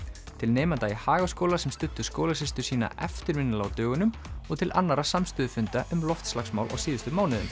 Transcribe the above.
til nemenda í Hagaskóla sem studdu skólasystur sína eftirminnilega á dögunum og til annarra samstöðufunda um loftslagsmál á síðustu mánuðum